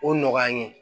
O nɔgɔya n ye